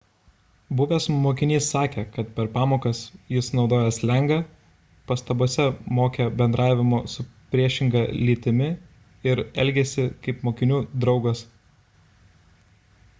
buvęs mokinys sakė kad per pamokas jis naudojo slengą pastabose mokė bendravimo su priešinga lytimi ir elgėsi kaip mokinių draugas